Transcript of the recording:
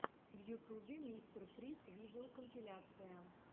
в ютубе мистер фриз видеокомпиляция